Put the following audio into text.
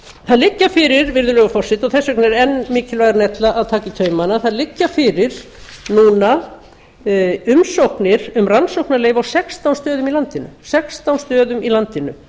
það liggja fyrir virðulegi forseti og þess vegna er enn mikilvægara en ella að taka í taumana það liggja fyrir núna umsóknir um rannsóknarleyfi á sextán stöðum á landinu